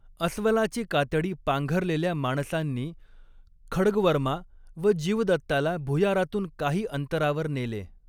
अस्वलाची कातडी पांघरलेल्या माणसांनी खड्गवर्मा व जीवदत्ताला भुयारातून काही अंतरावर नेले.